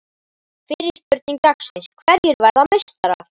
Fyrri spurning dagsins: Hverjir verða meistarar?